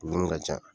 Dumuni ka ca